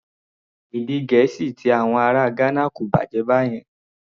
Èdè Gẹ̀ẹ́sì ti àwọn ará Ghana kò bàjẹ́ báyẹn.